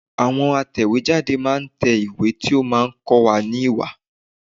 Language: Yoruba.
Àwọn atèwétà máa ń tẹ ìwé tí ó máa ń kó ni ìwà.